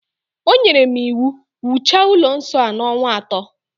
O nyere m iwu, wuchaa ụlọ nsọ a n'ọnwa ato